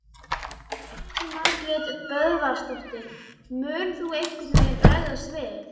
Elín Margrét Böðvarsdóttir: Mun þú einhvern veginn bregðast við?